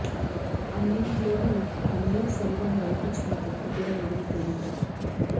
అన్నింట్లోనూ పన్నీర్ సెల్వం వైపు చిన్న తప్పు కూడా లేదని తేలిందట